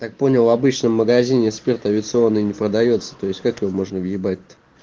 так понял обычном магазине спирт авиационный не продаётся то есть как его можно въебать то